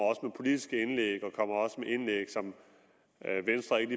med politiske indlæg og indlæg som venstre ikke